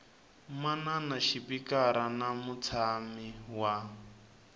manana xipikara na mutshami wa